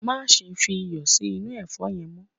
Máse fi iyò sí inú èfó yen mo